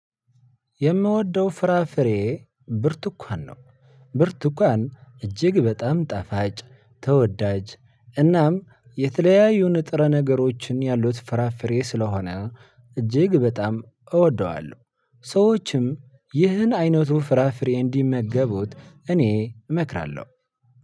የምወደው ፍራፍሬ ብርቱኳን ነው። ብርቱኳን እጅግ በጣም ጣፋጭ ተወዳጅ እናም የተለያዩን ንጥረ ነገሮችን ያሉት ፍራፍሬ ስለሆነ እጅግ በጣም እወደዋለሁ። ሰወችም እንድህ አይነት ፍራፍሬ እንዲመገቡት እኔ እመክራለሁ።